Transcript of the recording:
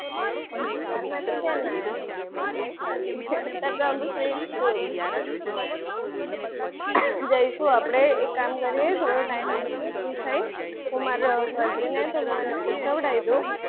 તાર માટે ક્યાં ના, તું કે ખાલી કે અત્યારે તો આપણે free જછુ. જઈશું આપણે એક કામ કરીએ થોડો time ઈને free થઈ માર cousin છે તો મેં એને પૂછાવ્યું હતું